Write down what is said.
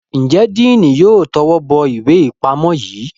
Njé Diini yóò towó bó ìwé ipamọ yí?